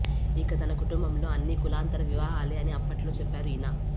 ఇక తన కుటుంబంలో అన్నీ కులాంతర వివాహాలే అని అప్పట్లో చెప్పారు ఈయన